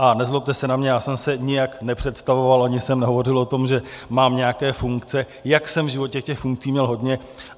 A nezlobte se na mě, já jsem se nijak nepředstavoval, ani jsem nehovořil o tom, že mám nějaké funkce, jak jsem v životě těch funkcí měl hodně.